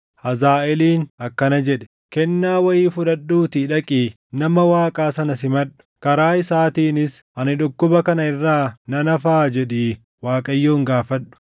Hazaaʼeeliin akkana jedhe; “Kennaa wayii fudhadhuutii dhaqii nama Waaqaa sana simadhu. Karaa isaatiinis, ‘Ani dhukkuba kana irraa nan hafaa?’ jedhii Waaqayyoon gaafadhu.”